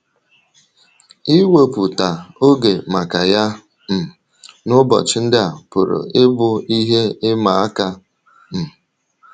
Iwèpụ̀tā oge maka ya um n’ụbọchị ndị a pụrụ ịbụ ihe ịmà àkà. um